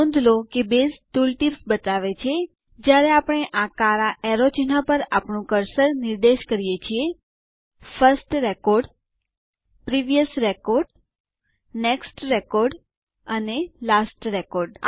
નોંધ લો કે બેઝ ટુલ ટીપ્સ બતાવે છે જ્યારે આપણે આ કાળા તીર ચિહ્નો પર આપણું કર્સર નિર્દેશ કરીએ છીએ first record previous record next record અને લાસ્ટ રેકોર્ડ